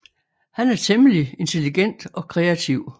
Han er temmelig intelligent og kreativ